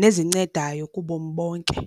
nezincedayo kubomi bonke.